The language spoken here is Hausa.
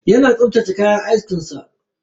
Yana tsaftace kayan askin sa.